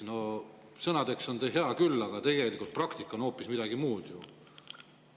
No sõnades on see hea küll, aga tegelikult praktika on hoopis midagi muud ju.